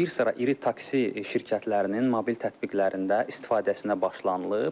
bir sıra iri taksi şirkətlərinin mobil tətbiqlərində istifadəsinə başlanılıb.